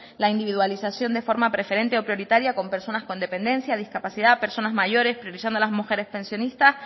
la individualización de forma preferente o prioritaria con personas con dependencia discapacidad personas mayores previsión de las mujeres pensionistas